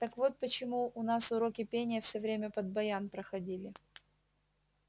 так вот почему у нас уроки пения всё время под баян проходили